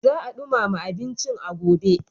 Za a ɗumama abincin a gobe.